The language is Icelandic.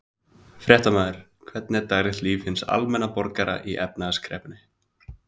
Fréttamaður: Hvernig er daglegt líf hins almenna borgara í efnahagskreppunni?